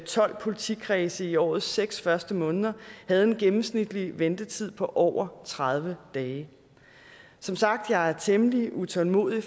tolv politikredse i årets seks første måneder havde en gennemsnitlig ventetid på over tredive dage som sagt er jeg temmelig utålmodig